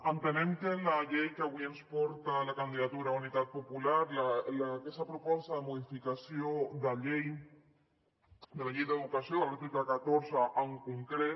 entenem que la llei que avui ens porta la candidatura d’unitat popular aquesta proposta de modificació de la llei d’educació de l’article catorze en concret